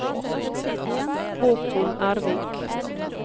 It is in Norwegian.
Håkon Ervik